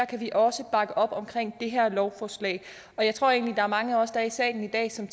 kan vi også bakke op om det her lovforslag jeg tror egentlig er mange af os her i salen i dag som